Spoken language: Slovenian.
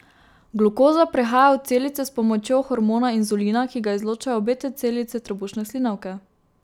Glukoza prehaja v celice s pomočjo hormona inzulina, ki ga izločajo beta celice trebušne slinavke.